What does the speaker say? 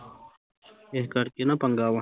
ਇਸ ਕਰਕੇ ਨਾ ਪੰਗਾ ਵਾਂ